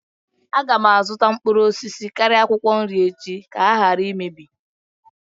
Aga m azụta mkpụrụ osisi karịa akwụkwọ nri echi ka ha ghara imebi